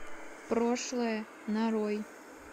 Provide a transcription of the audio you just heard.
прошлое нарой